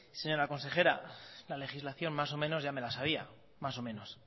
señora consejera la legislación más o menos ya me la sabía más o menos